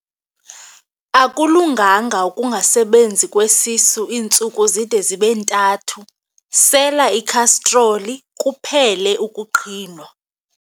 Akulunganga ukungasebenzi kwesisu iintsuku zide zibe ntathu, sela ikhastroli kuphele ukuqhinwa.